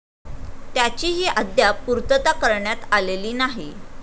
त्याचीही अद्याप पूर्तता करण्यात आलेली नाही.